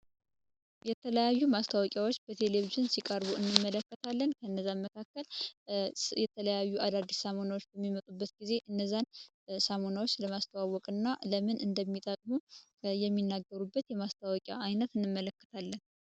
የተለያዩ ማስታወቂያዎች በቴሌቪዥን ሲቀርቡ እንመለከታለን እነዚ ማስታወቂያዎች የተለያዩ አዳዲስ ሳሙናዎች በሚመጡበት ጊዜ ሰሙነዎችን ለማስተዋወቅና እንዴት እንደሚጠቅሙን የሚናገሩበት የማስታወቂያ አይነት እንመለከታለን።